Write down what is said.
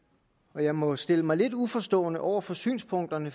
og jeg må stille mig lidt uforstående over for synspunkterne